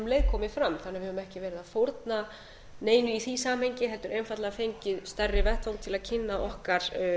um leið komið fram þannig að við höfum ekki verið að fórna neinu í því samhengi heldur einfaldlega fengið stærri vettvang til að kynna okkar